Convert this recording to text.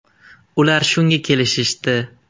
Ular shunga kelishishdi.